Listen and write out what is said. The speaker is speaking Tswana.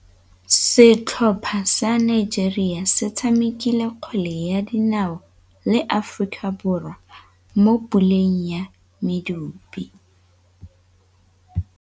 Setlhopha sa Nigeria se tshamekile kgwele ya dinaô le Aforika Borwa mo puleng ya medupe.